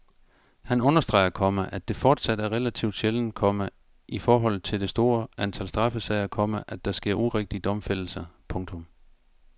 Han understreger, komma at det fortsat er relativt sjældent, komma i forhold til det store antal straffesager, komma at der sker urigtige domfældelser. punktum